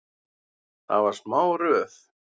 Það var smá röð.